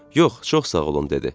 Yox, çox sağ olun, dedi.